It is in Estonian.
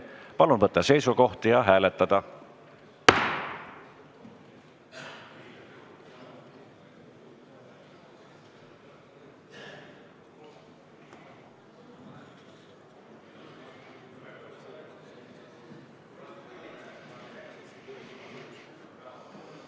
Palun võtta seisukoht ja hääletada!